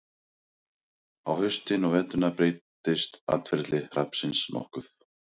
á haustin og veturna breytist atferli hrafnsins nokkuð